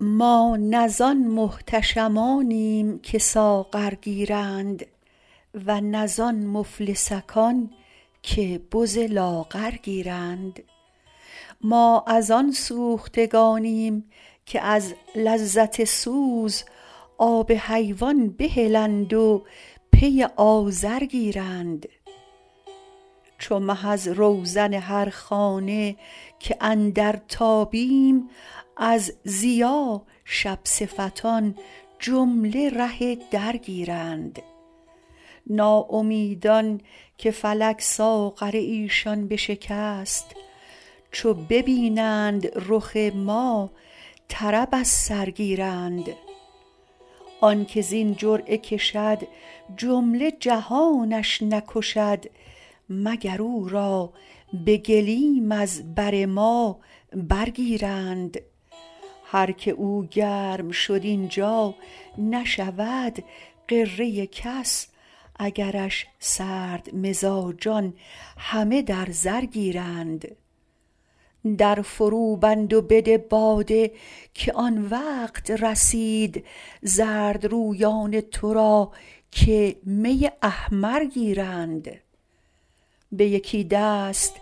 ما نه زان محتشمانیم که ساغر گیرند و نه زان مفلسکان که بز لاغر گیرند ما از آن سوختگانیم که از لذت سوز آب حیوان بهلند و پی آذر گیرند چو مه از روزن هر خانه که اندر تابیم از ضیا شب صفتان جمله ره در گیرند ناامیدان که فلک ساغر ایشان بشکست چو ببینند رخ ما طرب از سر گیرند آن که زین جرعه کشد جمله جهانش نکشد مگر او را به گلیم از بر ما برگیرند هر کی او گرم شد این جا نشود غره کس اگرش سردمزاجان همه در زر گیرند در فروبند و بده باده که آن وقت رسید زردرویان تو را که می احمر گیرند به یکی دست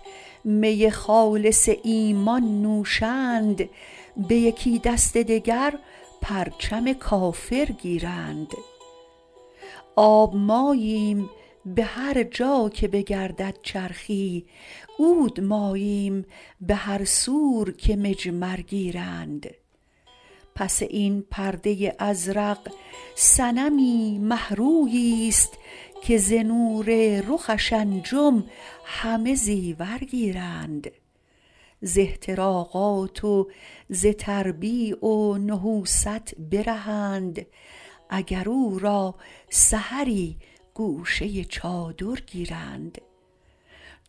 می خالص ایمان نوشند به یکی دست دگر پرچم کافر گیرند آب ماییم به هر جا که بگردد چرخی عود ماییم به هر سور که مجمر گیرند پس این پرده ازرق صنمی مه روییست که ز نور رخش انجم همه زیور گیرند ز احتراقات و ز تربیع و نحوست برهند اگر او را سحری گوشه چادر گیرند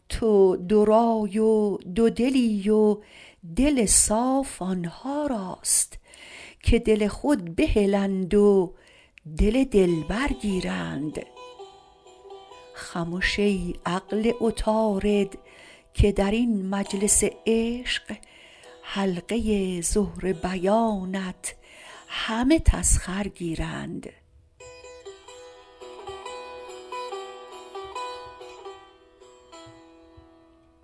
تو دورای و دودلی و دل صاف آن ها راست که دل خود بهلند و دل دلبر گیرند خمش ای عقل عطارد که در این مجلس عشق حلقه زهره بیانت همه تسخر گیرند